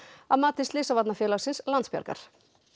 að mati Slysavarnafélagsins Landsbjargar